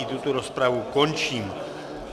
I tuto rozpravu končím.